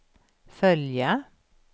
följa